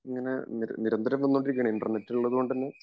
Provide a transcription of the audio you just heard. ഇങ്ങനെ നിരന്തരം വന്നോണ്ടിരിക്കുകയാണ് ഇന്റര്നെറ്റുകൾ ഉള്ളതുകൊണ്ട്തന്നെ